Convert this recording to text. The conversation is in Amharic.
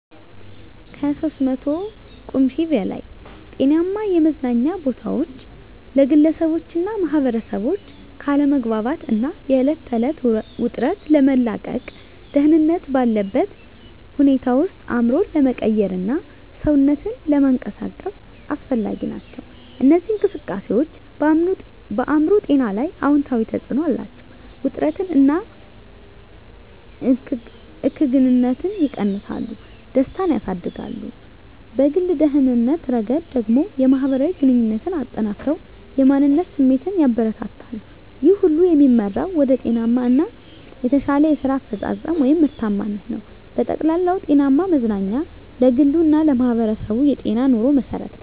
(ከ300 ቁምፊ በላይ) ጤናማ የመዝናኛ ቦታዎች ለግለሰቦችና ማኅበረሰቦች ከአለመግባባት እና የዕለት ተዕለት ውጥረት ለመላቀቅ፣ ደህንነት ባለበት ሁኔታ ውስጥ አእምሮን ለመቀየርና ሰውነትን ለመንቀሳቀስ አስፈላጊ ናቸው። እነዚህ እንቅስቃሴዎች በአእምሮ ጤና ላይ አዎንታዊ ተጽዕኖ አላቸው፤ ውጥረትን እና እከግንነትን ይቀንሳሉ፣ ደስታን ያሳድጋሉ። በግል ደህንነት ረገድ ደግሞ፣ የማህበራዊ ግንኙነትን አጠናክረው የማንነት ስሜትን ያበረታታሉ። ይህ ሁሉ የሚመራው ወደ ጤናማ እና የተሻለ የስራ አፈጻጸም (ምርታማነት) ነው። በጠቅላላው፣ ጤናማ መዝናኛ ለግሉ እና ለማህበረሰቡ የጤናማ ኑሮ መሠረት ነው።